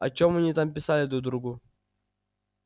о чем они там писали друг другу